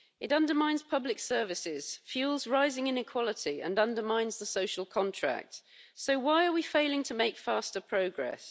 It undermines public services, fuels rising inequality and undermines the social contract, so why are we failing to make faster progress?